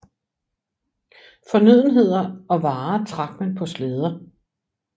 Fornødenheder og varer trak man på slæder